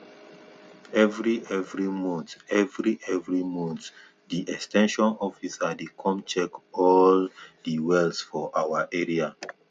every every month every every month di ex ten sion officer dey come check all di wells for our area